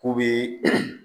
K'u bɛ